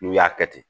N'u y'a kɛ ten